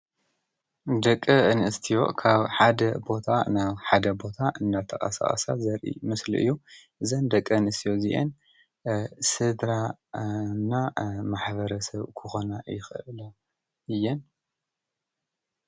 ደቀ እንእስቲዮ ካብ ሓደ ቦታ ናብ ሓደ ቦታ እናተኣሣኣሳት ዘሪ ምስሊ እዩ ዘን ደቀ እንእስቲዮ ዚኤን ሥድራእና ማኅበረ ሰብ ክኾና ይኽእለ እየን።